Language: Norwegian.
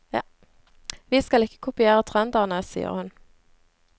Vi skal ikke kopiere trønderne, sier hun.